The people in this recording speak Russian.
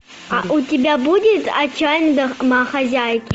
а у тебя будет отчаянные домохозяйки